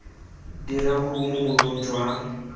dira kopo mo boemong jwa